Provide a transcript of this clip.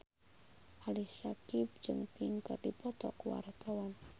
Ali Syakieb jeung Pink keur dipoto ku wartawan